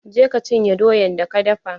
Je ka cinye doyan da ka dafa!